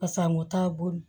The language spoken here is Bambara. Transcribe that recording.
Pasa a mɔ t'a bolo